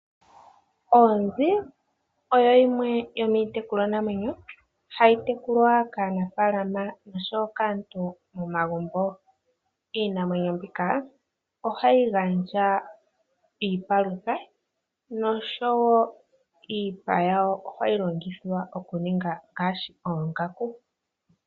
Oonzi oyo yimwe yomiitekulwa namwenyo hayi tekulwa kaanafalama nosho wo kaantu momagumbo. Iinamwenyo mbika ohayi gandja iipalutha nosho woo iipa yawo ohayi longithwa okuninga ngaashi oongaku.